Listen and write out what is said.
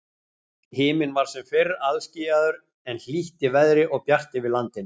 Himinn var sem fyrr alskýjaður, en hlýtt í veðri og bjart yfir landinu.